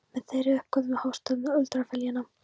Með þeirri uppgötvun hófst öld undralyfjanna.